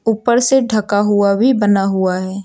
ऊपर से ढका हुआ भी बना हुआ है।